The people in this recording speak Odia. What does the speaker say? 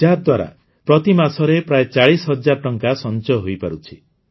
ୟାଦ୍ୱାରା ପ୍ରତିମାସରେ ପ୍ରାୟ ଚାଳିଶ ହଜାର ଟଙ୍କା ସଂଚୟ ହୋଇପାରୁଛି